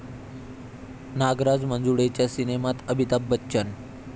नागराज मंजुळेंच्या सिनेमात अमिताभ बच्चन